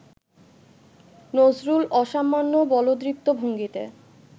নজরুল অসামান্য বলদৃপ্ত ভঙ্গিতে